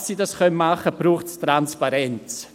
– Damit sie dies tun können, braucht es Transparenz.